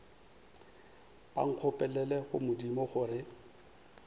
ba nkgopelele go modimo gore